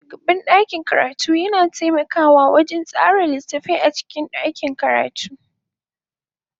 Shugaban ɗakin karatu yana taimakawa wajen tsara littattafai a cikin ɗakin karatu.